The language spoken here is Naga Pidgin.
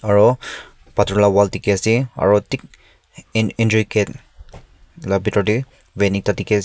aro pathor la wall dekhe ase aro thik en entry gate la bethor dae van ekta dekhe ase.